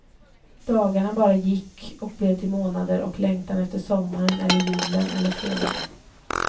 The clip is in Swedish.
Dagar som bara gick och blev till månader, och längtan efter sommaren eller julen eller fredagen.